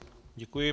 Děkuji.